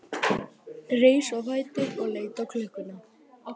Reis á fætur og leit á klukkuna.